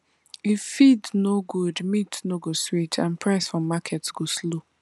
if feed no good meat no go sweet and price for market go low